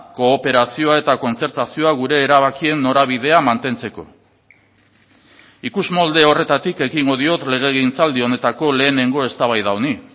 kooperazioa eta kontzertazioa gure erabakien norabidea mantentzeko ikusmolde horretatik ekingo diot legegintzaldi honetako lehenengo eztabaida honi